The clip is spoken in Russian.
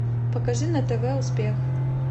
покажи на тв успех